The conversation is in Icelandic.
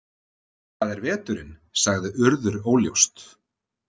Það er veturinn sagði Urður óljóst.